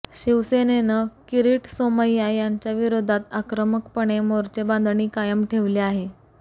शिवसेनेनं किरीट सोमय्या यांच्याविरोधात आक्रमकपणे मोर्चे बांधणी कायम ठेवली आहे